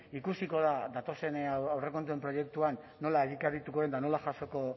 ikusiko da datozen aurrekontuen proiektuan nola egikarituko den eta nola